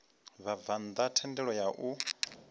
vhabvann ḓa thendelo ya u